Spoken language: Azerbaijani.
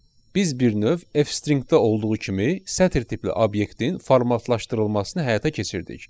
Biz bir növ F stringdə olduğu kimi sətr tipli obyektin formatlaşdırılmasını həyata keçirdik.